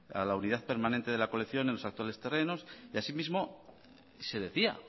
a la unidad permanente de la colección en los actuales terrenos y así mismo se decía